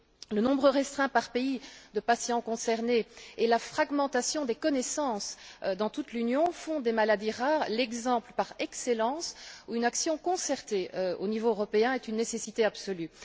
Le nombre restreint, par pays, de patients concernés et la fragmentation des connaissances dans toute l'Union font des maladies rares l'exemple par excellence où une action concertée au niveau européen est une nécessité absolue.